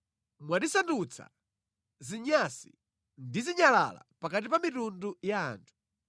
Mwatisandutsa zinyatsi ndi zinyalala pakati pa mitundu ya anthu.